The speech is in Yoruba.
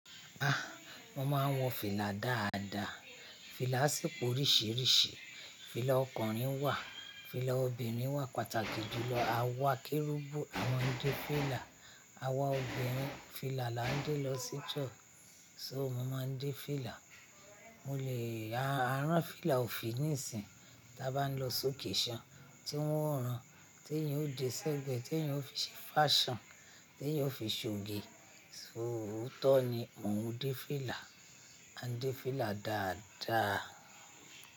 Ah! Mọ́ máa ń wọ fìlà dáadáa, fìlà sì pò ríṣiríṣi, fìlà ọkùnrin wà, fìlà obìnrin wà, pàtàkì jù lọ, àwa kérúbù a máa ń dé fìlà, àwa obìnrin fìlà la ń dé lọ sí church, so mo máa ń dé fìlà, mo lè, a rán fìlà òfin níìsín tí a bá ń lọ sókèṣan, tí wọ́n ó rán, tí èèyàn ó dé sẹ́gbẹ̀ẹ́, tí èèyàn ó fi ṣe fashion, tí èèyàn ó fi ṣoge, ṣóòótọ́ ni mo ń wọ dé fìlà, a ń dé fìlà dáadáa.